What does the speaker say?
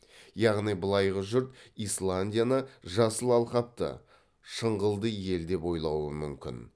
яғни былайғы жұрт исландияны жасыл алқапты шыңғылды ел деп ойлауы мүмкін